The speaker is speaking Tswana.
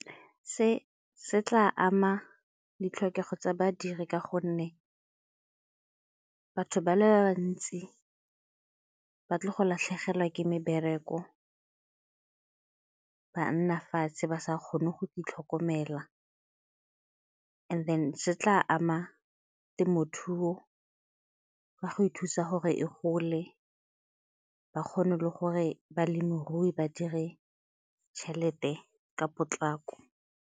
Se se tla ama ditlhokego tsa badiri ka gonne batho ba le bantsi ba tle go latlhegelwa ke mebereko ba nna fatshe ba sa kgone go itlhokomela and then se tla ama temothuo ka go ithusa gore e gole ba kgone le gore balemirui ba dire tšhelete ka potlako.